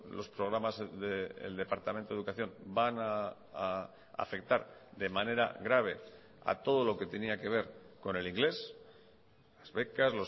los programas del departamento de educación van a afectar de manera grave a todo lo que tenía que ver con el inglés las becas